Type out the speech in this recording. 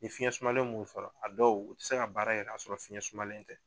Ni fiyɛn sumanlen m'u sɔrɔ a dɔw u tɛ se ka baara yɛrɛ ni ka sɔrɔ ni fiyɛn sumalen tɛ.